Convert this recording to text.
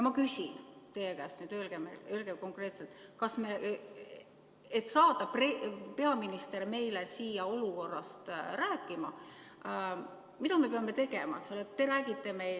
Ma küsin teie käest nüüd konkreetselt: mida me peame tegema, et saada peaminister meile siia olukorrast rääkima?